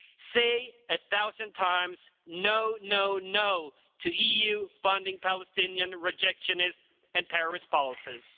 say a thousand times no, no, no to EU funding Palestinian rejectionist and terrorist policies.